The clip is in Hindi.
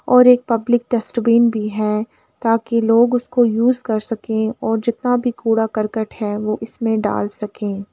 और एक पब्लिक डस्टबिन भी है ताकि लोग उसको यूज़ कर सके और जितना भी कूड़ा-करकट है वो इसमें डाल सके।